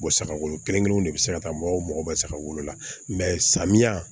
saga wolo kelen kelen de be se ka taa mɔgɔw mago bɛ saga wolo la samiyɛ